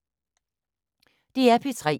DR P3